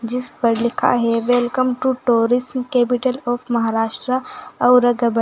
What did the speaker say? जिस पर लिखा है welcome to tourism capital of Maharashtra Aurangabad.